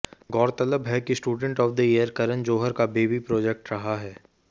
गौरतलब है कि student of the year Karan Johar का बेबी प्रोजेक्ट रहा है